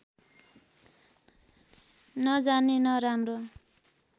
नजानी नराम्रो